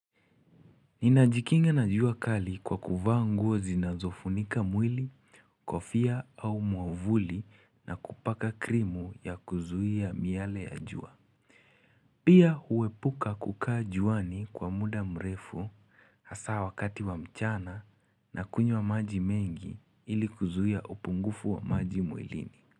Ninajikinga na jua kali kwa kuvaa zinazofunika mwili, kofia au mwavuli na kupaka krimu ya kuzuia miale ya jua. Pia huepuka kukaa juani kwa mda mrefu, hasa wakati wa mchana na kunywa maji mengi ili kuzuia upungufu wa maji mwilini.